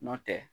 Nɔntɛ